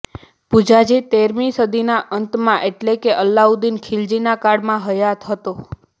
પુંજાજી તેરમી સદીના અંતમાં એટલે કે અલાઉદ્દીન ખીલજી ના કાળમાં હયાત હતો